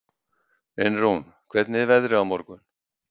Einrún, hvernig er veðrið á morgun?